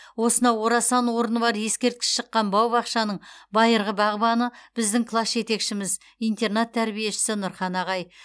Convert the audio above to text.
осынау орасан орны бар ескерткіш шыққан бау бақшаның байырғы бағбаны біздің класс жетекшіміз интернат тәрбиешісі нұрхан ағай